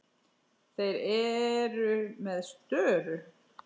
Þeir eru með störu.